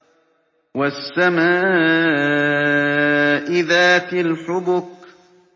وَالسَّمَاءِ ذَاتِ الْحُبُكِ